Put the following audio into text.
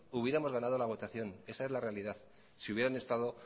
hubiéramos ganado la votación esa es la realidad si hubieran estado